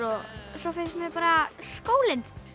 svo finnst mér bara skólinn